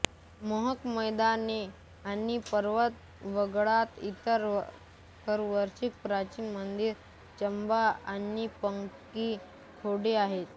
मोहक मैदाने आणि पर्वत वगळता इतर आकर्षणे प्राचीन मंदिरे चंबा आणि पंगी खोरे आहेत